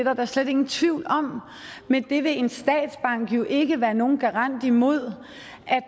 er der slet ingen tvivl om men det vil en statsbank jo ikke være nogen garant imod